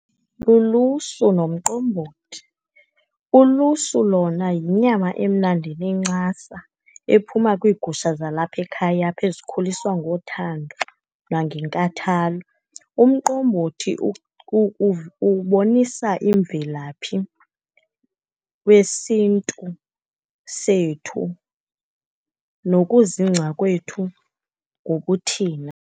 Lulusu nomqombothi. Ulusu lona yinyama emnandi enencasa, ephuma kwiigusha zalapha ekhaya apha ezikhuliswa ngothando nangenkathalo. Umqombothi ubonisa imvelaphi wesiNtu sethu nokuzingca kwethu ngokuthina.